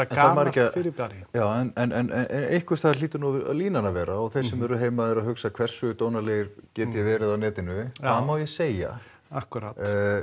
gamalt fyrirbæri já en einhvers staðar hlýtur nú línan að vera og þeir sem eru heima eru að hugsa hversu dónalegur get ég verið á netinu hvað má ég segja akkúrat